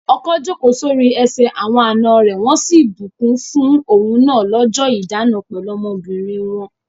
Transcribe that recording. Ọkọ jókòó sórí ẹsẹ̀ àwọn àna rẹ̀ wọ́n sì bùkún fún òun náà lọ́jọ́ ìdána pẹ̀lú ọmọbìnrin wọn.